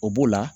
O b'o la